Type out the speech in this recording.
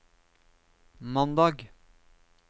mandag